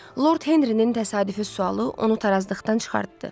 Lord Henrinin təsadüfi sualı onu tarazlıqdan çıxartdı.